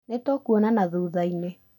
Nĩtũkũonana thuthainĩ